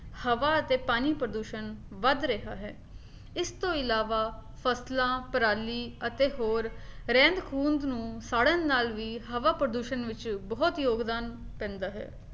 ਹਵਾ ਅਤੇ ਪਾਣੀ ਪ੍ਰਦੂਸ਼ਣ ਵੱਧ ਰਿਹਾ ਹੈ, ਇਸਤੋਂ ਇਲਾਵਾ ਫਸਲਾਂ, ਪਰਾਲੀ ਅਤੇ ਹੋਰ ਰਹਿੰਦ-ਖੁੰਹਦ ਨੂੰ ਸਾੜਨ ਨਾਲ ਵੀ ਹਵਾ ਪ੍ਰਦੂਸ਼ਣ ਵਿੱਚ ਬਹੁਤ ਯੋਗਦਾਨ ਪੈਂਦਾ ਹੈ